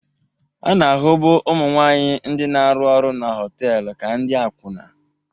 A na-ahụbu ụmụ nwanyị ndị na-arụ ọrụ na họtelu ka ndị akwụna